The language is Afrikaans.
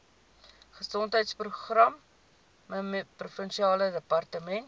gesondheidsprogramme provinsiale departement